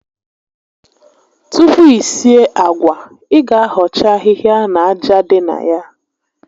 Tupu i sie àgwà, ị ga ahọcha ahịhịa na aja dị na ya